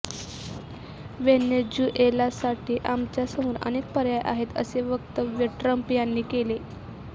व्हेनेझुएलासाठी आमच्यासमोर अनेक पर्याय आहेत असे वक्तव्य ट्रम्प यांनी केले